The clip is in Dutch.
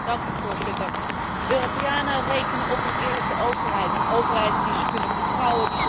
Europeanen rekenen op een eerlijke overheid, een overheid die zij kunnen vertrouwen, die zich aan de wet houdt.